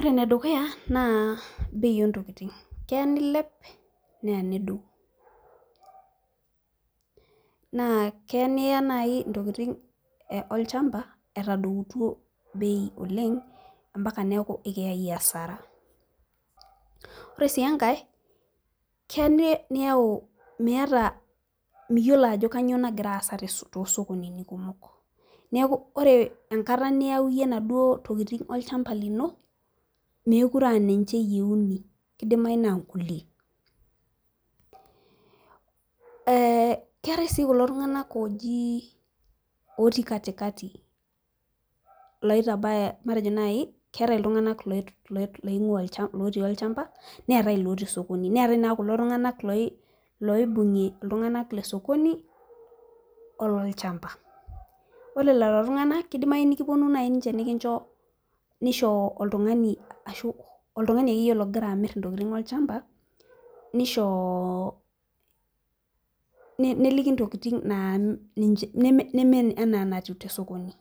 ore ene dukuya naa bei oontokitin, keya nilep, neya nedou, naa keya niya naaji ntokitin olchampa etadoutuo beil oleng mpaka neeku ekiyae asara. ore sii enkae, keya niyau miyiolo ajo kainyioo nagira aasa too sokonini kumok. neeku iyiolo enkata niyau iyie inaduo tokitin olchampa lino, meeku re aa ninche iyieuni. kidimayu naa nkulie, ee keetae sii kulo tunganak oji otii katikati, kidim nitabaya iltunganak lotii olchampa, neetae ilotii sokoni. neetae naa kulo tunganak looibung'ie iltunganak le sokoni, oloolchampa, ore lelo tunganak ,kidimayu nepuonu naaji niche nikincho, nisho oltungani, ashu oltungani akeyie ogira amir intokitin olchampa. neliki intokitin naa neme enaa eneatiu tosokoni,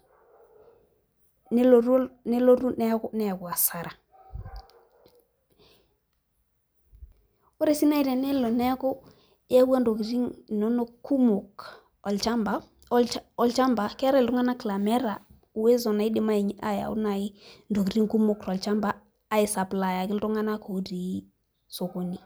nelotu neyau asara. ore sii naaji tenelo neeku iyaua ntokitin inonok kumok olchampa. keetae iltunganak laa meeta uwezo naidim naaji ayau ntokitin kumok tolchampa.ai supplier iltunganak otiii sokoni.